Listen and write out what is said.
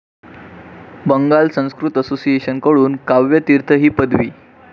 Bengal Sanskrit association कडून काव्य तीर्थ ही पदवी